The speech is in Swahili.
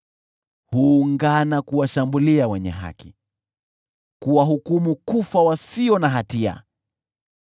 Huungana kuwashambulia wenye haki, kuwahukumu kufa wasio na hatia.